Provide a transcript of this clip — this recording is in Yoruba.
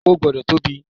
O gbọ́dọ̀ tóbi.